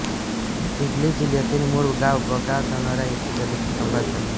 हिगोली जिल्ह्यातील मूळ गाव भोगाव धानोरा येथे दलित कुटुंबात जन्म